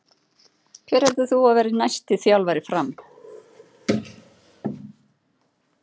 Hver heldur þú að verði næsti þjálfari FRAM?